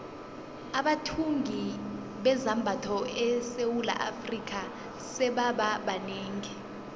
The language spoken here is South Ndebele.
abathungi bezambatho esewula afrika sebaba banengi